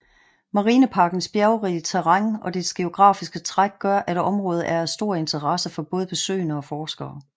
Marineparkens bjergrige terræn og dets geografiske træk gør at området er af stor interesse for både besøgende og forskere